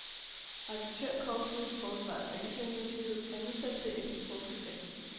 Auditørkorpset, forsvarets anklagemyndighed, er nu sat til at efterforske sagen.